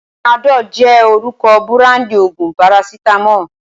Panadol jẹ́ orúkọ búráńdì òògùn parasítámọ̀.